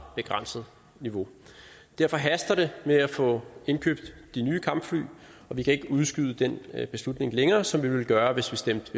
begrænset niveau derfor haster det med at få indkøbt de nye kampfly og vi kan ikke udskyde den beslutning længere sådan som vi ville gøre hvis vi stemte